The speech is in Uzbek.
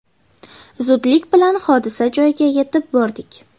Zudlik bilan hodisa joyiga yetib bordik.